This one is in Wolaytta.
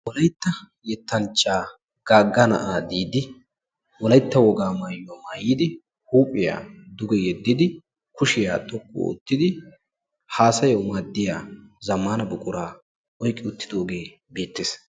wolaytta yettanchchaa gaagga na'aa diidi wolaytta wogaa mayuwa mayyidi huuphiya duge yeddidi kushiya wottidi haasayawu maaddiya zammaana buquraa oyiqqi uttidooge beettes.